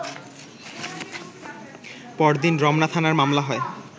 পরদিন রমনা থানায় মামলা হয়